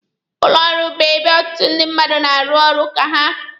Ụlọ ọrụ bụ ebe ọtụtụ ndị mmadụ na-arụ ọrụ aka ha.